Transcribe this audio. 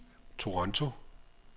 Toronto